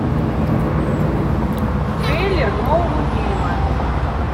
трейлер нового фильма